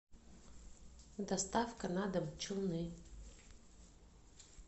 доставка на дом челны